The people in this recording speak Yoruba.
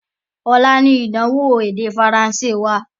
Ọlá ni ìdánwò èdè Faransé wá.